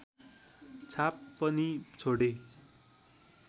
छाप पनि छोडे